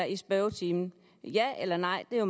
i spørgetimen ja eller nej det